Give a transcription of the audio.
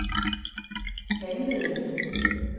handlede